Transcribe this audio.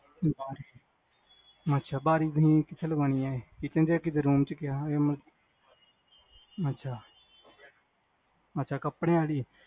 ਅੱਛਾ ਬਾਰੀ ਕਿੱਥੇ ਲਵਾਨੀਆ ਇਹ kitchen ਚ room ਚ ਮਤਲਬ ਅੱਛਾ ਅੱਛਾ ਕਪੜਿਆ ਆਲੀ